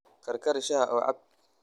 Karkari shaaha oo cab.